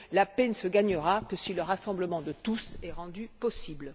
La paix ne se gagnera que si le rassemblement de tous est rendu possible.